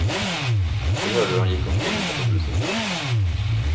De hörde hur han gick omkring utanför huset.